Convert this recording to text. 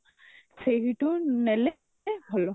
ସେଇଠୁ ନେଲେ ଭଲ